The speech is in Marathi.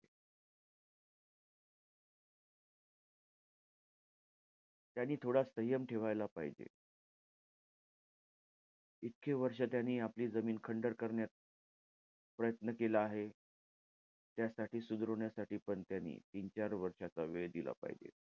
त्यांनी थोडा संयम ठेवायला पाहिजे. इतके वर्ष त्यांनी आपली जमीन खंडर करण्यात प्रयत्न केला आहे. त्यासाठी, सुधारवण्यासाठी पण त्यानी तीन-चार वर्षाचा वेळ दिला पाहिजे.